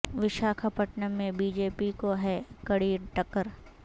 وشاکھا پٹنم میں B J P کو ہے کڑی ٹکر